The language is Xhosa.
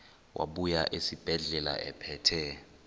wabuya esibedlela ephethe